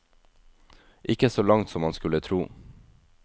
Ikke så langt som man skulle tro.